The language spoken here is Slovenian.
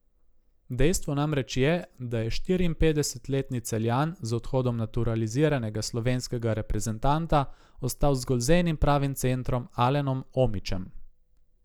Dejstvo namreč je, da je štiriinpetdesetletni Celjan z odhodom naturaliziranega slovenskega reprezentanta ostal zgolj z enim pravim centrom Alenom Omićem.